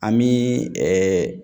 An bi